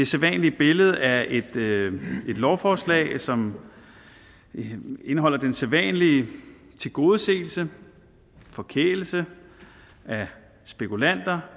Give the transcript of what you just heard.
sædvanlige billede af et lovforslag som indeholder den sædvanlige tilgodeseelse forkælelse af spekulanter